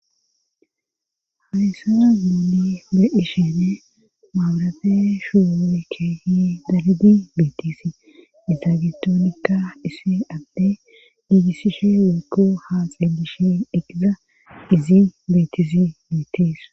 Hahysazu gili beishene maabarafe shuwukkehi dargi beetisi izaagetoonikka isssi abde giigissishe wuku haa xeelishe deqiza izi beetizi beetis.